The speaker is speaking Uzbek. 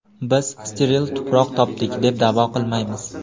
Biz steril tuproq topdik, deb da’vo qilmaymiz.